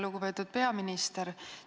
Lugupeetud peaminister!